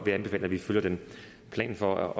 jeg anbefale at vi følger planen for